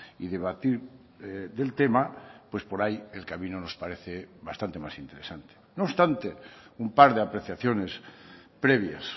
y debatir del tema pues por ahí el camino nos parece bastante más interesante no obstante un par de apreciaciones previas